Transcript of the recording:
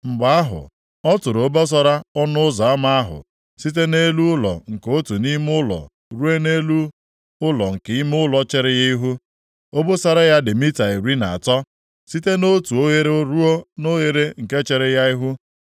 Mgbe ahụ, ọ tụrụ obosara ọnụ ụzọ ama ahụ, site nʼelu ụlọ nke otu ime ụlọ ruo nʼelu ụlọ nke ime ụlọ chere ya ihu; obosara ya dị mita iri na atọ, site nʼotu oghere ruo nʼoghere nke chere ya ihu.